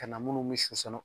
Ka na minnu bɛ